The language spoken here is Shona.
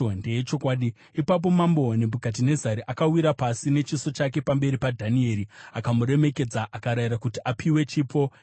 Ipapo mambo Nebhukadhinezari akawira pasi nechiso chake pamberi paDhanieri akamuremekedza akarayira kuti apiwe chipo nezvinonhuhwira.